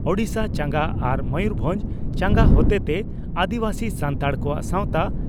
ᱳᱰᱤᱥᱟ ᱪᱟᱸᱜᱟ ᱟᱨ ᱢᱚᱭᱩᱨᱵᱷᱚᱸᱡᱽ ᱪᱟᱸᱜᱟ ᱦᱚᱛᱮᱛᱮ ᱟᱹᱫᱤᱵᱟᱹᱥᱤ ᱥᱟᱱᱛᱟᱲ ᱠᱚᱣᱟᱜ ᱥᱟᱣᱛᱟ